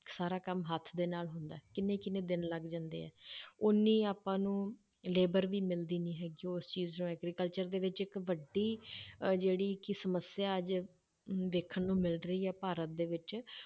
ਸਾਰਾ ਕੰਮ ਹੱਥ ਦੇ ਨਾਲ ਹੁੰਦਾ ਹੈ, ਕਿੰਨੇ ਕਿੰਨੇ ਦਿਨ ਲੱਗ ਜਾਂਦੇ ਹੈ ਓਨੀ ਆਪਾਂ ਨੂੰ labour ਵੀ ਮਿਲਦੀ ਨੀ ਹੈਗੀ, ਉਸ ਚੀਜ਼ ਨੂੰ agriculture ਦੇ ਵਿੱਚ ਇੱਕ ਵੱਡੀ ਅਹ ਜਿਹੜੀ ਕਿ ਸਮੱਸਿਆ ਅੱਜ ਦੇਖਣ ਨੂੰ ਮਿਲ ਰਹੀ ਹੈ ਭਾਰਤ ਦੇ ਵਿੱਚ